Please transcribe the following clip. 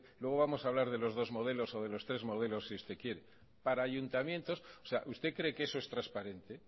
luego vamos a hablar de los dos modelos o de los tres modelos si usted quiere usted cree que eso es transparente